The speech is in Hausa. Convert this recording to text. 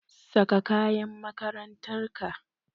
Saka kayan makarantar ka!